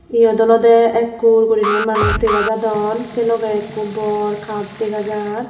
eyot olode ekkur guriney manuch degajadon sei logey ekko bor kap dega jaar.